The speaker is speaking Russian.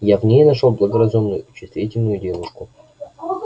я в ней нашёл благоразумную и чувствительную девушку